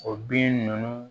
O bin ninnu